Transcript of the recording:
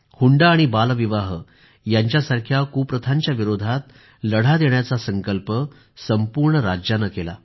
हुंडा आणि बालविवाह यांच्यासारख्या कुप्रथांच्या विरोधात लढा देण्याचा संकल्प संपूर्ण राज्याने केला